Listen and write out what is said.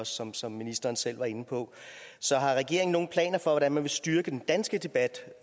som som ministeren selv var inde på så har regeringen nogen planer for hvordan man vil styrke den danske debat